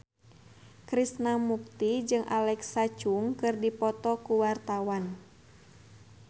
Krishna Mukti jeung Alexa Chung keur dipoto ku wartawan